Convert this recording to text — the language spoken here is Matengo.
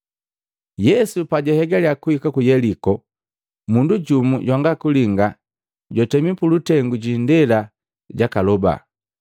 Yesu pajahegalya kuhika ku Yeliko, mundu jumu jwanga kulinga jwatemi pulutengu jiindela jakaloba.